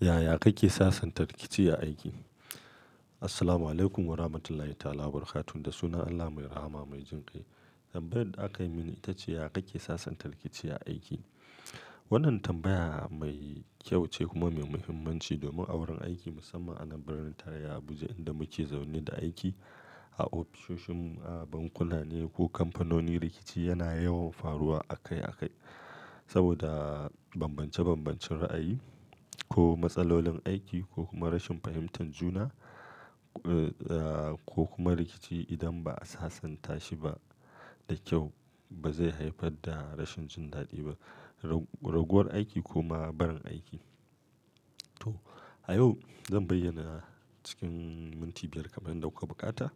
Yaya kake sasanta rikici a aiki? Assalamualaikum warahmatullahi ta'ala wabarakatuh. Da sunan Allah mai rahama mai jin kai. Tambayar da aka yi mini ita ce yaya kake sasanta rikici a aiki. Wannan tambaya mai kyau ce kuma mai muhimmanci domin a wurin aiki musamman a birnin tarayya Abuja inda muke zaune da aiki a ofisoshin, a bankuna ne ko kamfanonin rikici yana yawan faruwa akai akai. Saboda bambance bambancin ra'ayi ko matsalolin aiki ko kuma rashin fahimtar juna, ko kuma rikici idan ba a sasanta shi ba da kyau ba zai haifar da rashin jin daɗi ba, raguwar aiki kuma barin aiki. To a yau zan bayyana cikin minti biyar kamar dauka bukata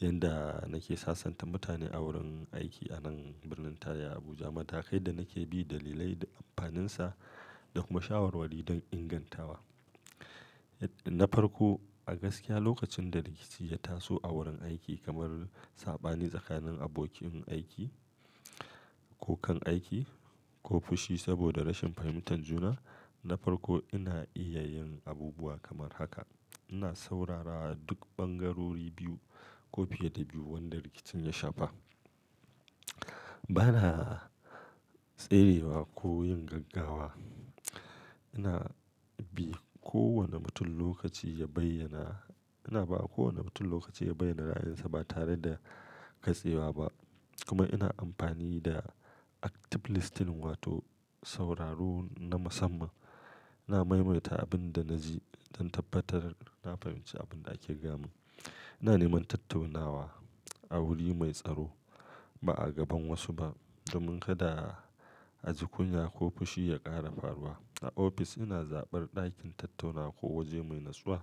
yadda nake sasanta mutane a wurin aiki a nan birnin tarayya Abuja. Mata kai da nake bi dalilai da amfaninsa da kuma shawarwari don ingantawa. Na farko, a gaskiya lokacin da rikici ya taso a wurin aiki kamar saɓani tsakanin abokin aiki ko kan aiki ko fushi saboda rashin fahimtar juna. Na farko ina iya yin abubuwa kamar haka. Ina saurara duk bangarori biyu ko fiye da biyu wanda rikicin ya shafa. Bana tserewa ko yin gaggawa. Ina bi kowane mutum lokaci ya bayyana-- ina ba kowane mutum lokaci ya bayyana ra'ayinsa ba tare da katsewa ba. Kuma ina amfani da active listening wato sauraro na musamman. Ina maimaita abin da na ji don tabbatar da na fahimci abin da ake gama. Ina neman tattaunawa a wuri mai tsaro ba a gaban wasu ba domin kada a ji kunya ko fushi ya ƙara faruwa. A ofis ina zaɓar ɗakin tattauna ko waje mai natsuwa.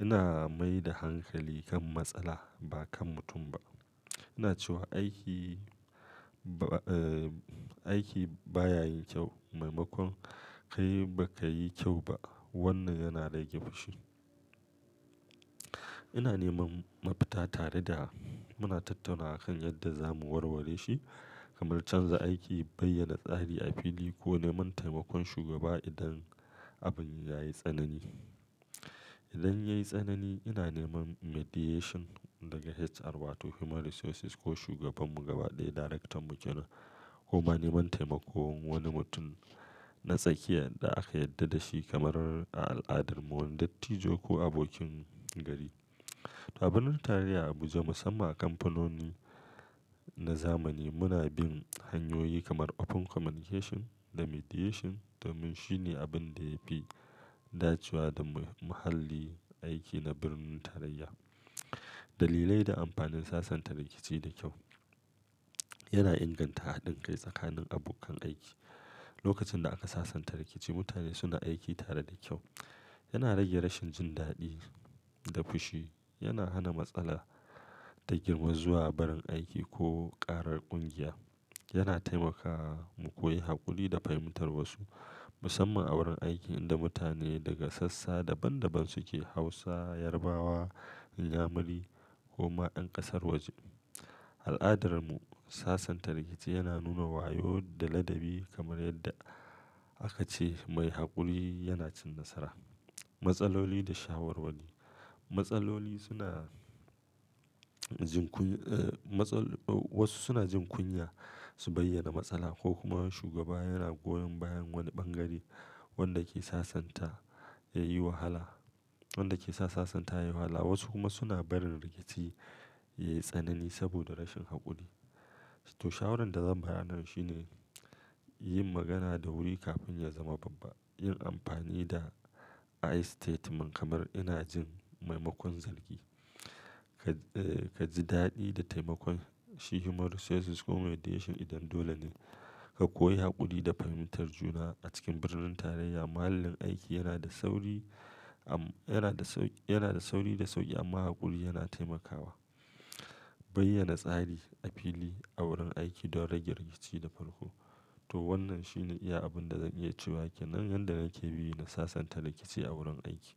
Ina mai da hankali kan matsala ba kan mutum ba. Ina cewa aiki ba, aiki baya yin kyau, maimakon kai baka yi kyau ba. Wannan yana rage fushi. Ina neman mafita tare da muna tattaunawa kan yadda zamu warware shi kamar canza aiki, bayyana tsari a fili ko neman taimakon shugaba idan abin ya yi tsanani. Idan ya yi tsanani ina neman mediation daga HR wato human resources ko shugabanmu gaba ɗaya darektan mu ke nan ko ma neman taimakon wani mutum na tsakiya da aka yarda da shi kamar a al'adar mu wani dattijo ko abokin gari. To a birnin tarayya Abuja musamman a kamfanoni na zamani muna bin hanyoyi kamar open communication da mediation domin shine abin da ya fi dacewa da muhallin aiki na birnin tarayya. Dalilai da amfanin sasanta rikici da kyau yana inganta haɗin kai tsakanin abokan aiki. Lokacin da aka sasanta rikici mutane suna aiki tare da kyau. Yana rage rashin jin daɗi da fushi. Yana hana matsala ta girma zuwa barin aiki ko ƙara ƙungiya. Yana taimakawa mu koyi haƙuri da fahimtar wasu musamman a wurin aiki inda mutane daga sassa daban daban suke Hausawa, Yarabawa, Inyamuri ko ma yan ƙasar waje. A al'adar mu sasanta rikici yana nuna wayo da ladabi kamar yadda aka ce mai haƙuri yana cin nasara. Matsaloli da shawarwari. Matsaloli suna jin kunya-- wasu suna jin kunya su bayyana matsala ko kuma shugaba yana goyon bayan wani bangare wanda ke sasanta ya yi wahala, wanda ke sa sasanta yayi wahala. Wasu kuma suna barin rikici yayi tsanani saboda rashin haƙuri. To shawarar da zan bayarana shi ne yi magana da wuri kafin ya zama babba. Yi amfani da "I" statement kamar ina jin maimakon zargi. Ka ji daɗi da taimakon shi human resources ko mediation idan dole ne. Ka koyi haƙuri da fahimtar juna a cikin birnin tarayya. Muhallin aiki yana da sauri am yana da sau-- yana da sauri da sauƙi amma haƙuri yana taimakawa. Bayyana tsari a fili a wurin aiki don rage rikici da farko. To wannan shine iya abin da zan iya cewa ke nan yadda nake bi na sasanta rikici a wurin aiki.